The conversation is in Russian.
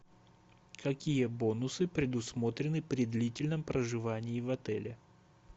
какие бонусы предусмотрены при длительном проживании в отеле